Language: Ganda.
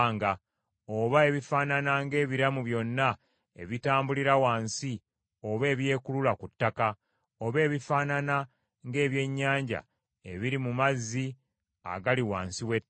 oba ebifaanana ng’ebiramu byonna ebitambulira wansi oba ebyekulula ku ttaka; oba ebifaanana ng’ebyennyanja ebiri mu mazzi agali wansi w’ettaka.